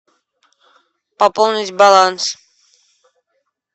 пополнить баланс